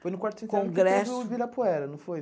Foi no quarto centenário que teve o Ibirapuera, não foi?